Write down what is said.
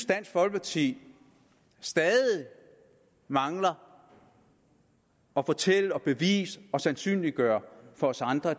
dansk folkeparti stadig mangler at fortælle bevise og sandsynliggøre for os andre